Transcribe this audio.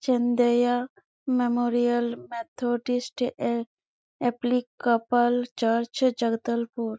Chandaiya memorial Methodist ए Episcopal church Jagdalpur--